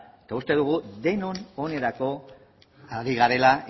eta uste dugu denon onerako ari garela